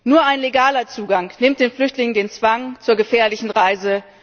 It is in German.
Nur ein legaler Zugang nimmt den Flüchtlingen den Zwang zur gefährlichen Reise.